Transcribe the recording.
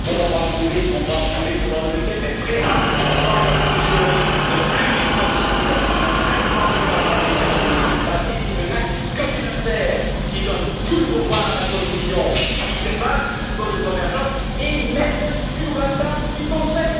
On va approuver ce qu'on va approuver pendant le week end, mais préparez ensemble avec M. Rehn, le plus vite possible, un vrai plan de gouvernance économique basé sur un acte communautaire qui donne tout le pouvoir à la Commission, qui se base sur un code de convergence, et mettez le sur la table du Conseil.